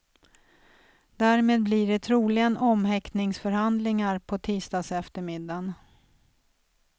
Därmed blir det troligen omhäktningsförhandlingar på tisdagseftermiddagen.